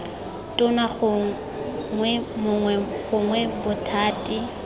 tona gongwe mongwe gongwe bothati